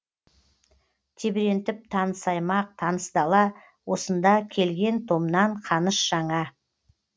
тебірентіп таныс аймақ таныс дала осында келген томнан қаныш жаңа